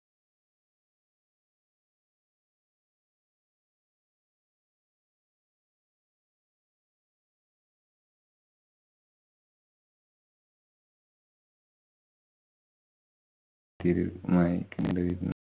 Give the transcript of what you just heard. തീരുമാനിക്കണ്ടിയിരുന്നു.